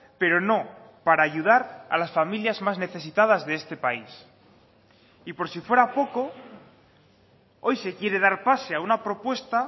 pero no para ayudar a las familias más necesitadas de este país y por si fuera poco hoy se quiere dar pase a una propuesta